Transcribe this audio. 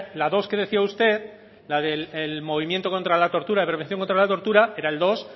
la dos que decía usted la del movimiento contra la tortura prevención contra la tortura era